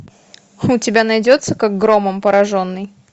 у тебя найдется как громом пораженный